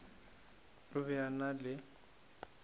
o be a na le